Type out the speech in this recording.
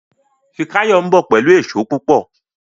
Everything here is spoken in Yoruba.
Fikayomi nbọ pẹlú Èṣó púpọ